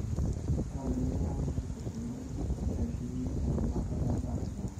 kenarikino neshukokinoi olkereti lenkinosata endaa liang'